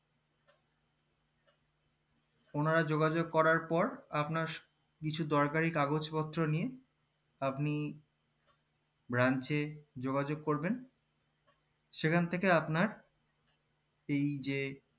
ওনারা যোগেযোগ করার পর আপনার কিছু দরকারি কাগজ পত্র নিয়ে আপনি branch এ যোগাযোগ করবেন সেখান থেকে আপনার এই যে